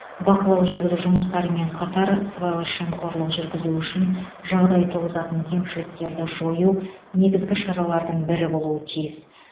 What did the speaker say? бақылау жүргізу жұмыстарымен қатар сыбайлас жемқорлық жүргізу үшін жағдай туғызатын кемшіліктерді жою негізгі шаралардың бірі болуы тиіс